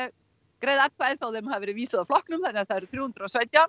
greiða atkvæði þó þeim hafi verið vísað úr flokknum þannig að það eru þrjú hundruð og sautján